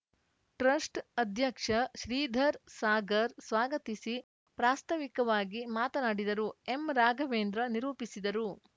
trust ಅಧ್ಯಕ್ಷ ಶ್ರೀಧರ ಸಾಗರ್‌ ಸ್ವಾಗತಿಸಿ ಪ್ರಾಸ್ತವಿಕವಾಗಿ ಮಾತನಾಡಿದರು ಎಂರಾಘವೇಂದ್ರ ನಿರೂಪಿಸಿದರು